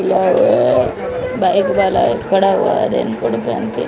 bike वाला ये खड़ा हुआ है रेनकोट पेहन के--